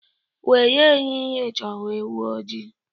Were ehihie chọwa ewu ojii.